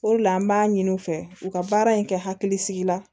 O de la an b'a ɲini u fɛ u ka baara in kɛ hakilisigi la